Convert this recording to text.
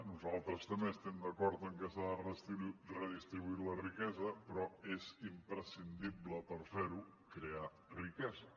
nosaltres també estem d’acord que s’ha de redistribuir la riquesa però és imprescindible per fer ho crear riquesa